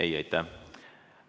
Ei, aitäh!